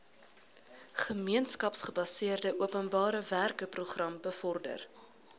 gemeenskapsgebaseerde openbarewerkeprogram bevorder